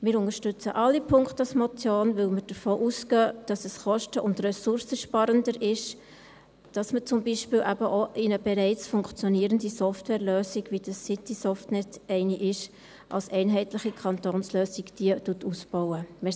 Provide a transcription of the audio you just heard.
Wir unterstützen alle Punkte als Motion, weil wir davon ausgehen, dass es kosten- und ressourcensparender ist, wenn man beispielsweise eben auch eine bereits funktionierte Softwarelösung – wie das Citysoftnetz eine ist – als einheitliche Kantonslösung ausbaut.